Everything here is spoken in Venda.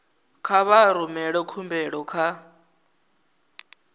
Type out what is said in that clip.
kha vha rumele khumbelo kha